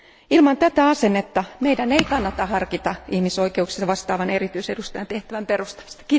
Ilman tätä asennetta meidän ei kannata harkita ihmisoikeuksista vastaavan erityisedustajan tehtävän perustamista.